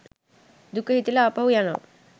දුක හිතිලා ආපහු යනවා